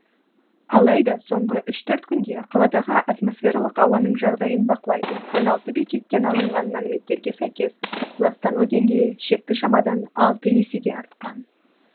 алайда соңғы үш төрт күнде қаладағы атмосфералық ауаның жағдайын бақылайтын он алты бекеттен алынған мәліметтерге сәйкес ластану деңгейі шекті шамадан алты есеге артқан